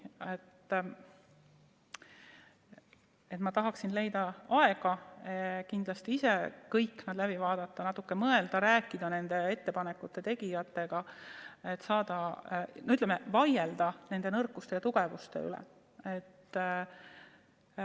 Ma kindlasti tahaksin leida aega ise kõik need läbi vaadata, natuke mõelda ja rääkida ka ettepanekute tegijatega, et vaielda nende nõrkade ja tugevate külgede üle.